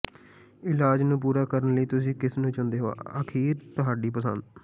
ਇਲਾਜ ਨੂੰ ਪੂਰਾ ਕਰਨ ਲਈ ਤੁਸੀਂ ਕਿਸ ਨੂੰ ਚੁਣਦੇ ਹੋ ਅਖੀਰ ਤੁਹਾਡੀ ਪਸੰਦ